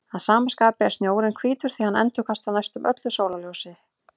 Að sama skapi er snjórinn hvítur því hann endurkastar næstum öllu sólarljósinu.